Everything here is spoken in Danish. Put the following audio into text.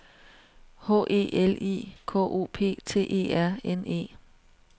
H E L I K O P T E R N E